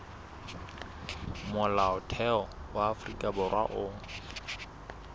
molaotheo wa afrika borwa o